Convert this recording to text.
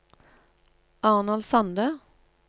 Arnold Sande